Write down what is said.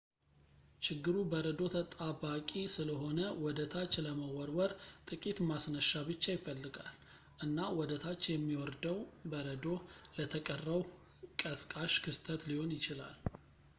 ችግሩ በረዶ ተጣባቂ ስለሆነ ወደ ታች ለመወርወር ጥቂት ማስነሻ ብቻ ይፈልጋል ፣ እና ወደ ታች የሚወርደው በረዶ ለተቀረው ቀስቃሽ ክስተት ሊሆን ይችላል